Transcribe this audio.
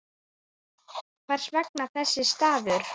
Hvers vegna þessi staður?